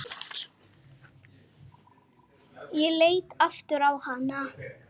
Ég leit aftur á hana.